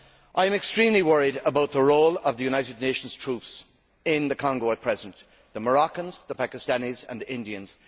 I am extremely worried about the role of the United Nations troops in the Congo at present the Moroccans, the Pakistanis and the Indians.